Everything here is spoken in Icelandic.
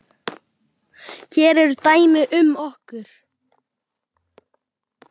Hér eru dæmi um nokkur